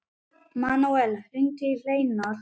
Manuel, hringdu í Hleinar.